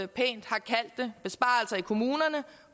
pænt har kaldt det besparelser i kommunerne